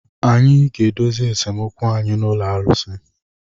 Anyị ga-edozi esemokwu anyị na ụlọ arụsị.